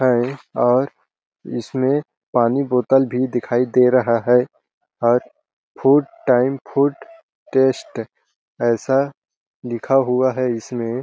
है और इसमें पानी बोतल भी दिखाई दे रहा है और फूड टाइम फूड टेस्ट ऐसा लिखा हुआ है इसमें --